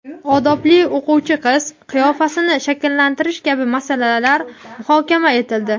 "Odobli o‘quvchi qiz" qiyofasini shakllantirish kabi masalalar muhokama etildi.